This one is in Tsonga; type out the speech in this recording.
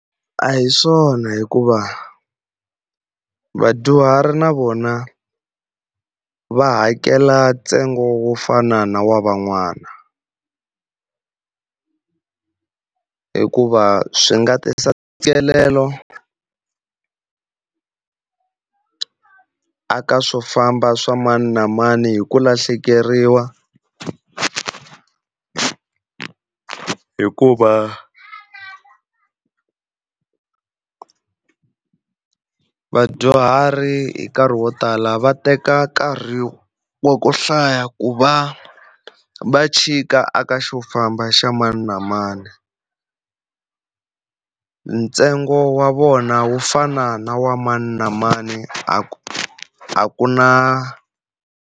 A hi swona hikuva vadyuhari na vona va hakela ntsengo wo fana na wa van'wana, hikuva swi nga tisa ntshikelelo a ka swo famba swa mani na mani hi ku lahlekeriwa. Hikuva vadyuhari hi nkarhi wo tala va teka nkarhi wa ku hlaya ku va va chika aka xa ku famba xa mani na mani. Ntsengo wa vona wu fana na wa mani na mani a ku a ku na.